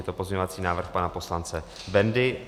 Je to pozměňovací návrh pana poslance Bendy.